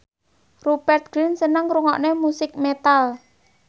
Rupert Grin seneng ngrungokne musik metal